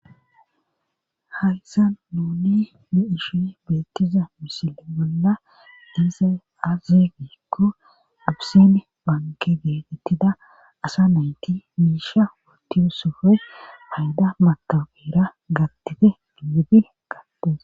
Hayssa nuni ni ishe beettiza misile bolla hese azegikko ubsen banke geetettida asa nayti miisha woti usofe hayda matabera gattite dinlibi gattos